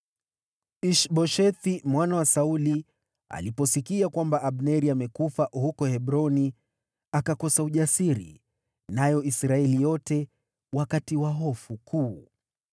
Ish-Boshethi mwana wa Sauli aliposikia kwamba Abneri amekufa huko Hebroni, akakosa ujasiri, nayo Israeli yote wakatiwa hofu kuu.